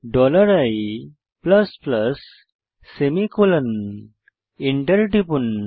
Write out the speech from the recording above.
dollar i plus plus semicolon enter টিপুন